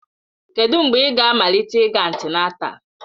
Kedụ mgbe ị ga-amalite ịga antịnátál?